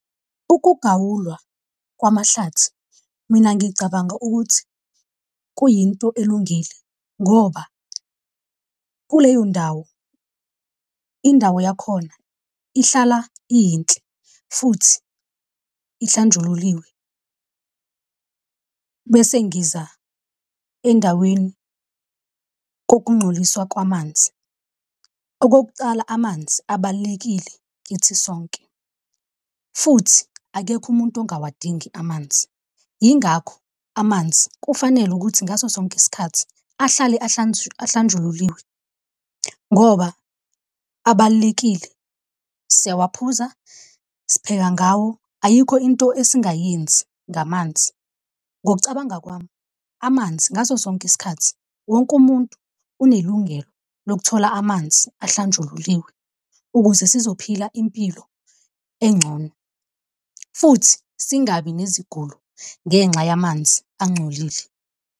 Ukugawulwa kwamahlathi mina ngicabanga ukuthi kuyinto elungile, ngoba kuleyo ndawo indawo yakhona ihlala iyinhle futhi ihlanjululiwe, bese ngiza endaweni kokungcoliswa kwamanzi. Okokuqala, amanzi abalulekile kithi sonke, futhi akekho umuntu ungawadingi amanzi, yingakho amanzi kufanele ukuthi ngaso sonke isikhathi ahlale ahlanjululiwe ngoba abalulekile. Siyawaphuza, spheka ngawo, ayikho into esingayenza ngamanzi. Ngokucabanga kwami amanzi ngaso sonke isikhathi wonke umuntu unelungelo lokuthola amanzi ahlanjululiwe ukuze sizophila impilo engcono, futhi singabi nezigulo ngenxa yamanzi angcolile.